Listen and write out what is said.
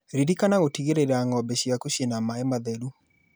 Ririkana gũtigĩrĩra ng'ombe ciaku ciĩna maĩĩ matheru